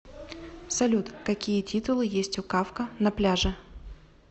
салют какие титулы есть у кафка на пляже